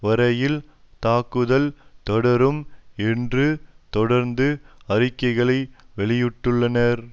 வரையில் தாக்குதல் தொடரும் என்று தொடர்ந்து அறிக்கைகளை வெளியிட்டுள்ளனர்